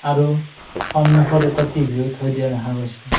আৰু সন্মুখত এটা টি_ভি ও থৈ দিয়া দেখা গৈছে।